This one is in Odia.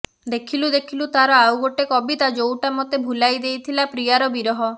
ଦେଖିଲୁ ଦେଖିଲୁ ତାର ଆଉ ଗୋଟେ କବିତା ଯୋଉଟା ମୋତେ ଭୁଲାଇ ଦେଇଥିଲା ପ୍ରିୟାର ବିରହ